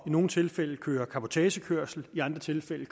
nogle tilfælde køre lovlig cabotagekørsel i andre tilfælde